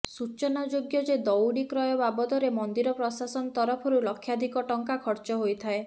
ସୂଚନାଯୋଗ୍ୟ ଯେ ଦଉଡ଼ି କ୍ରୟ ବାବଦରେ ମନ୍ଦିର ପ୍ରଶାସନ ତରଫରୁ ଲକ୍ଷାଧିକ ଟଙ୍କା ଖର୍ଚ୍ଚ ହୋଇଥାଏ